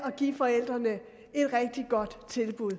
at give forældrene et rigtig godt tilbud